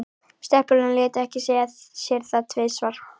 Stelpurnar létu ekki segja sér það tvisvar.